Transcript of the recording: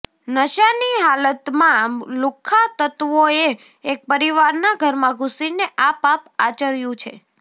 નશાની હાલતમાં લુખ્ખા તત્વોએ એક પરિવારના ઘરમાં ઘૂસીને આ પાપ આચર્યું છે